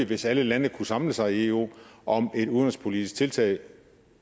hvis alle landene kunne samle sig i eu om et udenrigspolitisk tiltag